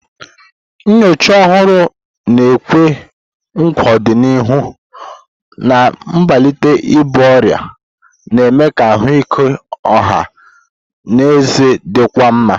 Nnyocha ọhụrụ na-ekwe nkwa ọdịnihu na mbelata ibu ọrịa, na-eme ka ahụike ọha na eze dịkwuo mma.